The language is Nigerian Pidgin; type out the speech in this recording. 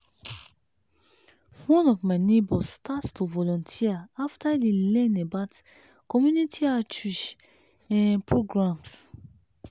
one of my neighbors start to volunteer after e learn about community outreach um programs.